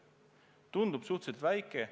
Tundub suhteliselt väike.